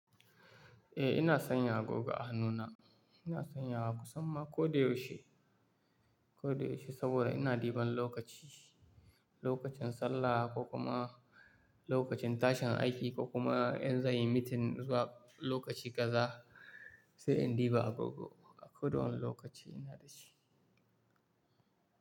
Eh ina sanya agoga a hannuna. Ina sanya wa kusan ma ko da yaushe, ko da yaushe saboda ina ɗiban lokaci, lokacin sallah ko kuma lokacin tashin aiki ko kuma in za in yi meeting zuwa lokaci kaza sai in ɗiba gogo. A koda wani lokaci ina da shi.